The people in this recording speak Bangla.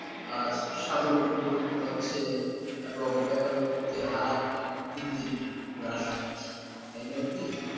আজ সাবলম্বী হচ্ছে এবং বেকারত্বের হার দিন দিন গ্রাস হচ্ছে তাই নয় কি?